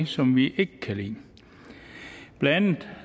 som vi ikke kan lide blandt